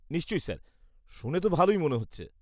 -নিশ্চয়ই স্যার। শুনে তো ভালোই মনে হচ্ছে।